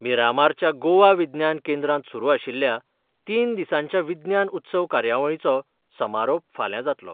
मिरामारच्या गोवा विज्ञान केंद्रांत सुरू आशिल्ल्या तीन दिसांच्या विज्ञान उत्सव कार्यावळींचो समारोप फाल्यां जात्लो.